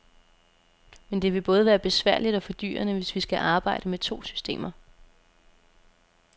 Men det vil både være besværligt og fordyrende, hvis vi skal arbejde med to systemer.